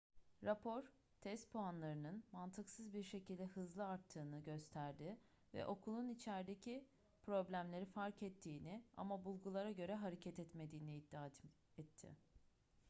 rapor test puanlarının mantıksız bir şekilde hızlı arttığını gösterdi ve okulun içerdeki problemleri fark ettiğini ama bulgulara göre hareket etmediğini iddia etti